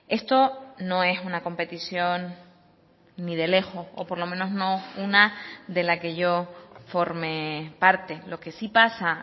esto no es una competición ni de lejos o por lo menos no una de la que yo forme parte lo que sí pasa